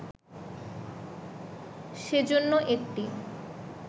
সেজন্য একটি